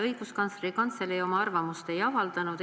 Õiguskantsleri Kantselei oma arvamust ei avaldanud.